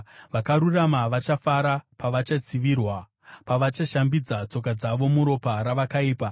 Vakarurama vachafara pavachatsivirwa, pavachashambidza tsoka dzavo muropa ravakaipa.